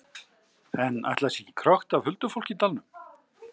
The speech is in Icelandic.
En ætli það sé ekki krökkt af huldufólki í dalnum?